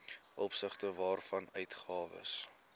opsigte waarvan uitgawes